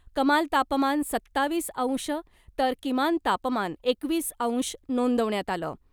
कमाल तापमान सत्तावीस अंश तर किमान तापमान एकवीस अंश नोंदवण्यात आलं .